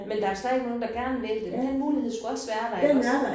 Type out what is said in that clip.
Men der er stadig nogen der gerne vil det. Den mulighed skulle også være der iggås